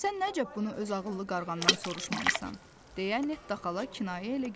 Sən nə cəf bunu öz ağıllı qarğandan soruşmamısan?